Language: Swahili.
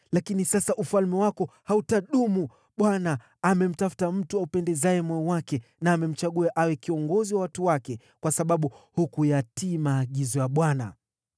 Lakini sasa ufalme wako hautadumu; Bwana amemtafuta mtu aupendezaye moyo wake, na amemchagua awe kiongozi wa watu wake, kwa sababu hukuyatii maagizo ya Bwana .”